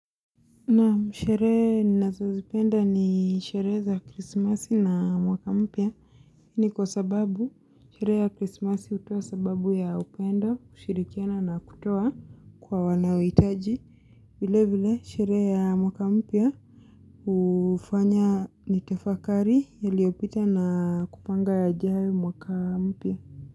Naam sherehe ninazozipenda ni sherehe za krismasi na mwaka mpya. Ni kwa sababu, sherehe ya krismasi hutoa sababu ya upendo, kushirikiana na kutoa kwa wanaohitaji. Vile vile, sherehe ya mwaka mpya hufanya nitafakari yaliyopita na kupanga yajayo mwaka mpya.